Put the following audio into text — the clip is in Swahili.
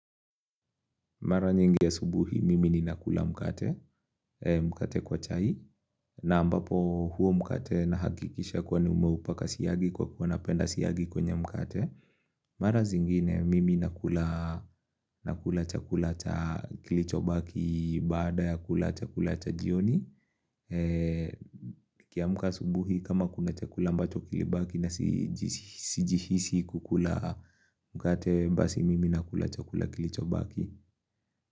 Mara nyingi asubuhi, mimi ninakula mkate, mkate kwa chai. Na ambapo huo mkate nahakikisha kwa nimeupaka siagi kwa kuwa napenda siagi kwenye mkate. Mara zingine, mimi nakula nakula chakula cha kilicho baki baada ya kula chakula cha jioni. Nikiamka asubuhi, kama kuna chakula ambacho kilibaki na sijihisi kukula mkate, basi mimi nakula chakula kilicho baki.